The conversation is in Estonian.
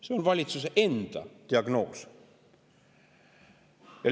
See on valitsuse enda diagnoos.